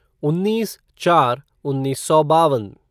उन्नीस चार उन्नीस सौ बावन